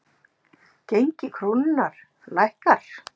Gengi krónunnar lækkar